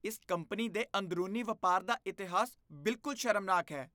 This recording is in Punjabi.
ਇਸ ਕੰਪਨੀ ਦੇ ਅੰਦਰੂਨੀ ਵਪਾਰ ਦਾ ਇਤਿਹਾਸ ਬਿਲਕੁਲ ਸ਼ਰਮਨਾਕ ਹੈ।